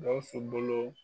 Gawusu bolo